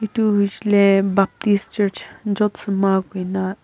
tourist le baptist church jotsma koina--